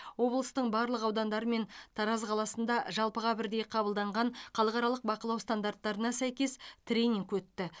облыстың барлық аудандары мен тараз қаласында жалпыға бірдей қабылданған халықаралық бақылау стандарттарына сәйкес тренинг өтті